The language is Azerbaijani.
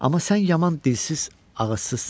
Amma sən yaman dilsiz-ağıssızsan.